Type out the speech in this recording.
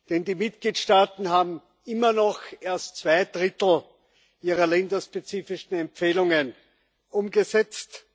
denn die Mitgliedstaaten haben immer noch erst zwei Drittel ihrer länderspezifischen Empfehlungen umgesetzt.